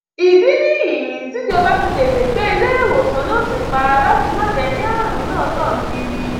ìdí nìyí tíjọba fi tètè gbé iléewòsàn náà ti pa láti má jẹ kí àrùn náà tàn kiri